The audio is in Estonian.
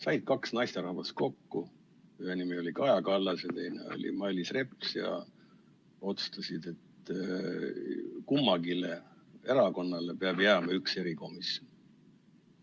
Said kaks naisterahvast kokku, ühe nimi oli Kaja Kallas ja teine oli Mailis Reps, ja otsustasid, et kummalegi erakonnale peab jääma üks erikomisjon.